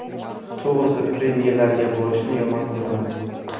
To‘g‘risi, premyeralarga borishni yomon ko‘raman.